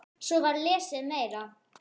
Einn kemur þá annar fer.